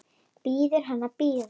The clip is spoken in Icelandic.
Biður hann að bíða.